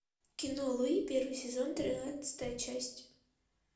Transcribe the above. кино луи первый сезон тринадцатая часть